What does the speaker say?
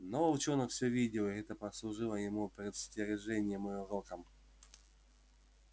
но волчонок всё видел и это послужило ему предостережением и уроком